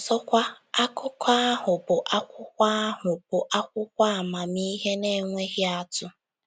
Ọzọkwa, akụkọ ahụ bụ akwụkwọ ahụ bụ akwụkwọ amamihe na-enweghị atụ.